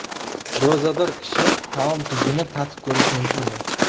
Ro‘zador kishi taom tuzini tatib ko‘rishi mumkinmi?.